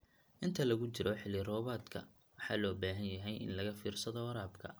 Inta lagu jiro xilli roobaadka, waxaa loo baahan yahay in laga fiirsado waraabka.